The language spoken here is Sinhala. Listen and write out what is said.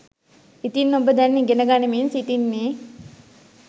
ඉතින් ඔබ දැන් ඉගෙන ගනිමින් සිටින්නේ